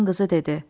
Xan qızı dedi: